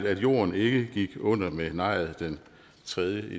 at jorden ikke gik under ved nejet den tredje